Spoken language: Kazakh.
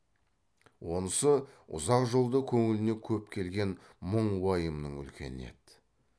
онысы ұзақ жолда көңіліне көп келген мұң уайымның үлкені еді